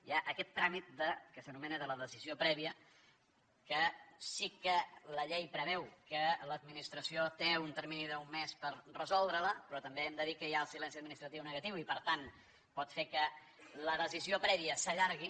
hi ha aquest tràmit que s’anomena de la decisió prèvia que sí que la llei que preveu que l’administració té un termini d’un mes per resoldre la però també hem de dir que hi ha el silenci administratiu negatiu i per tant pot fer que la decisió prèvia s’allargui